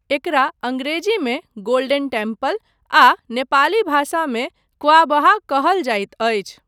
एकरा अङ्ग्रेजीमे golden temple आ नेपाली भाषामे क्वाःबहाः कहल जाइत अछि।